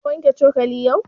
Ka wanke cokali yau?